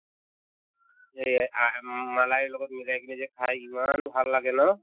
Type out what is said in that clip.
এই আ মম্ম malai ৰ লগত মিলাই কিনে যে খাই ইমান ভাল লাগে ন